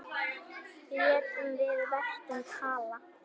Létum við verkin tala.